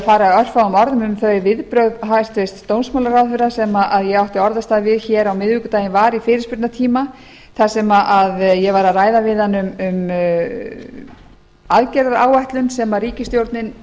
fara örfáum orðum um þau viðbrögð hæstvirts dómsmálaráðherra sem ég átti orðastað við hér á miðvikudaginn var í fyrirspurnatíma þar sem ég var að ræða við hann um aðgerðaráætlun sem ríkisstjórninni